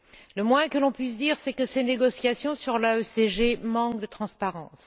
Le moins que l'on puisse dire, c'est que ces négociations sur l'AECG manquent de transparence.